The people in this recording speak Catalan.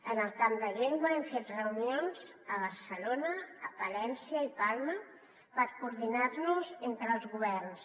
en el camp de llengua hem fet reunions a barcelona a valència i palma per coordinar nos entre els governs